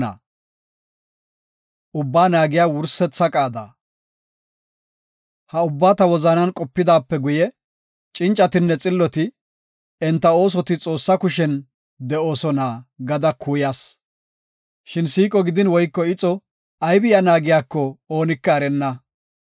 Ha ubbaa ta wozanan qopidaape guye cincatinne xilloti, enta oosoti Xoossa kushen de7oosona gada kuuyas. Shin siiqo gidin woyko ixo aybi iya naagiyako oonika erenna.